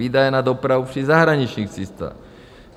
Výdaje na dopravu při zahraničních cestách.